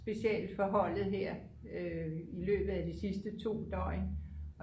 specielt for holdet her i løbet ad de sidste 2 døgn